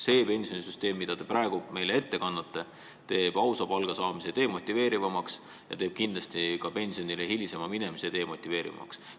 See pensionisüsteem, mida te praegu meile tutvustate, demotiveerib ausa palga maksmist ja kindlasti ka hilisemat pensionile minemist.